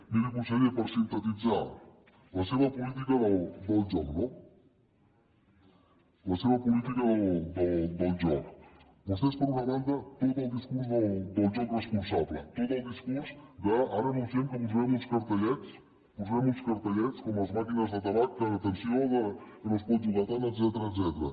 miri conseller per sintetitzar la seva política del joc no per una banda tot el discurs del joc responsable tot el discurs de ara anunciem que posarem uns cartellets posarem uns cartellets com a les màquines de tabac que atenció que no es pot jugar tant etcètera